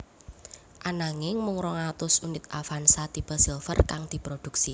Ananging mung rong atus unit Avanza tipe Silver kang diproduksi